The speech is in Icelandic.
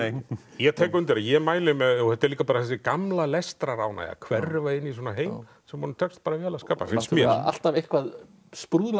ég tek undir það ég mæli með þetta er líka þessi gamla lestraránægja að hverfa inn í svona heim sem honum tekst bara vel að skapa finnst mér alltaf eitthvað